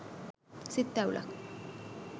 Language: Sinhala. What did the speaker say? සිත් තැවුලක්